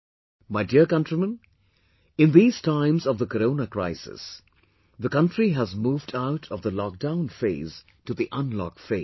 My dear countrymen, in these times of the corona crisis, the country has moved out of the lockdown phase to the unlock phase